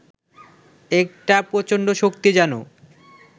একটা প্রচণ্ড শক্তি যেন